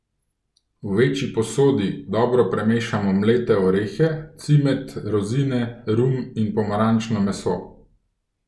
V večji posodi dobro premešamo mlete orehe, cimet, rozine, rum in pomarančno meso.